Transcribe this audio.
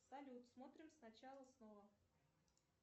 салют смотрим сначала снова